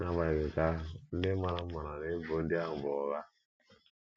N’agbanyeghị nke ahụ, ndị maara m maara na ebubo ndị ahụ bụ ụgha.